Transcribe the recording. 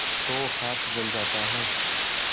तो हाथ जल जाता है